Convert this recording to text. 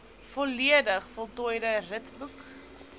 volledig voltooide ritboek